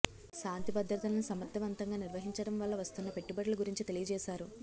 శాంతి భద్రతలను సమర్థవంతంగా నిర్వహించడం వల్ల వస్తున్న పెట్టుబడుల గురించి తెలియజేశారు